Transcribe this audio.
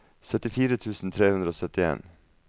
syttifire tusen tre hundre og syttien